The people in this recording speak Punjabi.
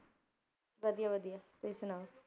ਵਧੀਆ ਵਧੀਆ, ਤੁਸੀਂ ਸੁਣਾਓ?